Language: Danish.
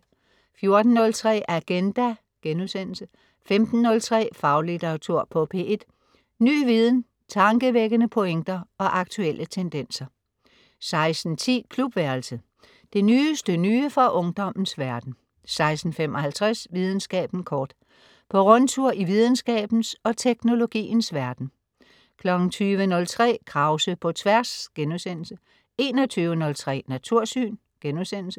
14.03 Agenda* 15.03 Faglitteratur på P1. Ny viden, tankevækkende pointer og aktuelle tendenser 16.10 Klubværelset. Det nyeste nye fra ungdommens verden 16.55 Videnskaben kort. På rundtur i videnskabens og teknologiens verden 20.03 Krause på Tværs* 21.03 Natursyn*